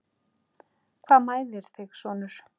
Hvað mæðir þig sonur?